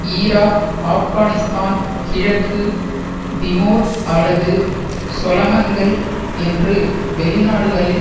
Iraq Afghanistan கிழக்கு Timor அல்லது சொலமன்கள் என்று வெளிநாடுகளில்